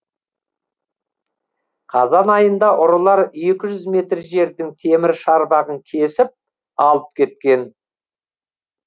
қазан айында ұрылар екі жүз метр жердің темір шарбағын кесіп алып кеткен